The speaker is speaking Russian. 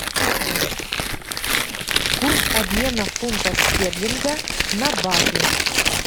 курс обмена фунта стерлинга на баты